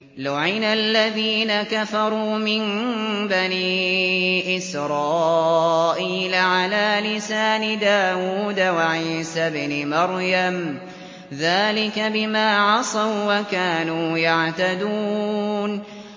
لُعِنَ الَّذِينَ كَفَرُوا مِن بَنِي إِسْرَائِيلَ عَلَىٰ لِسَانِ دَاوُودَ وَعِيسَى ابْنِ مَرْيَمَ ۚ ذَٰلِكَ بِمَا عَصَوا وَّكَانُوا يَعْتَدُونَ